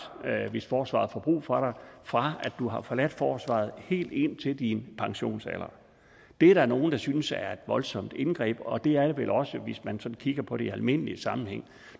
hvis forsvaret får brug for dig fra du har forladt forsvaret og helt indtil din pensionsalder det er der nogle der synes er et voldsomt indgreb og det er det vel også hvis man sådan kigger på det i en almindelig sammenhæng